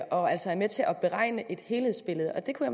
og altså er med til at beregne et helhedsbillede og det kunne